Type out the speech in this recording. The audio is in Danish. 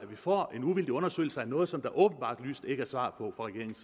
får en uvildig undersøgelse af noget som der åbenlyst ikke er svar på fra regeringens